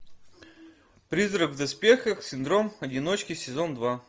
призрак в доспехах синдром одиночки сезон два